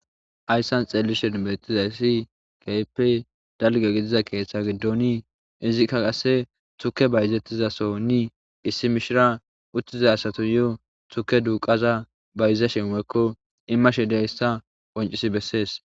Hayssan xeellishen bettizayssi keehipe dalge gidiza keeththa giddoni izikka qasse tuke bayzettizasonni issi mishira uttiza asato yo tuke duuqaza bayiza shemeekko immashe dayssa poncisi bessees.